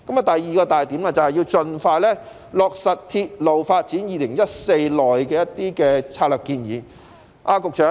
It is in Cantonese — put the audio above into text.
第二個重點是盡快落實《鐵路發展策略2014》內的建議。